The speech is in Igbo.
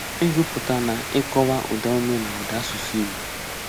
Ịgụpụta na ịkọwa ụdaume na ụda asụsụ Igbo.